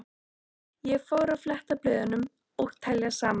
Og ég fór að fletta blöðum og telja saman.